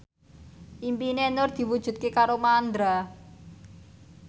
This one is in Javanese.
impine Nur diwujudke karo Mandra